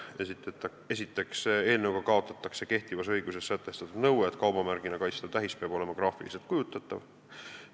Esiteks kaotatakse eelnõuga kehtivas õiguses sätestatud nõue, et kaubamärgina kaitstav tähis peab olema graafiliselt kujutatav.